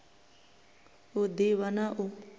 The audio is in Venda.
u d ivha na u